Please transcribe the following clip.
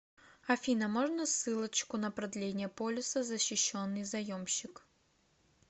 афина можно ссылочку на продление полиса защищенный заемщик